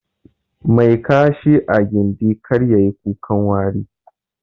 Mai Kashi a gindi, kar yayi kukan wari.